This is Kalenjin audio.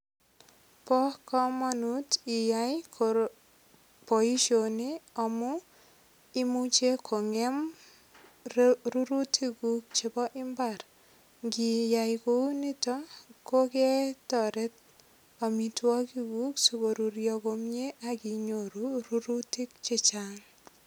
Bo komonut iyai boishoni amu imuche kongem rurutik kuk chebo imbar ngiyai kounoto koketoret omitwokik kuk sikoruryo komie akinyoru rurutik che chang.